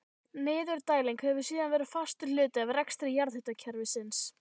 Niðurdæling hefur síðan verið fastur hluti af rekstri jarðhitakerfisins.